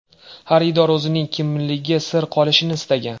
Xaridor o‘zining kimligi sir qolishini istagan.